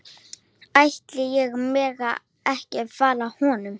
Ætli ég megi ekki fara með honum?